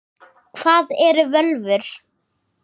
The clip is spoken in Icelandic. Hvað eru völvur?